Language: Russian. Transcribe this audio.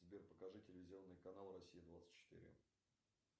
сбер покажи телевизионный канал россия двадцать четыре